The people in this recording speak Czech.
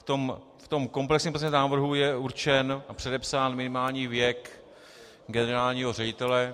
V tom komplexním pozměňovacím návrhu je určen a předepsán minimální věk generálního ředitele.